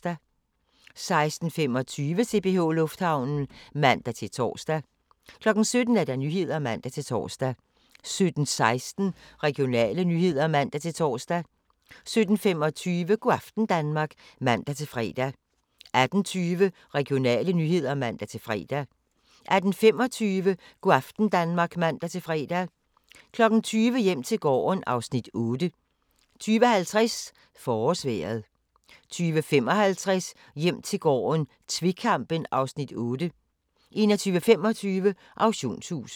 16:25: CPH Lufthavnen (man-tor) 17:00: Nyhederne (man-tor) 17:16: Regionale nyheder (man-tor) 17:25: Go' aften Danmark (man-fre) 18:20: Regionale nyheder (man-fre) 18:25: Go' aften Danmark (man-fre) 20:00: Hjem til gården (Afs. 8) 20:50: Forårsvejret 20:55: Hjem til gården - tvekampen (Afs. 8) 21:25: Auktionshuset